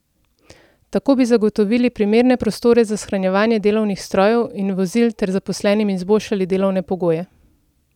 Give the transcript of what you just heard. Tako bi zagotovili primerne prostore za shranjevanje delovnih strojev in vozil ter zaposlenim izboljšali delovne pogoje.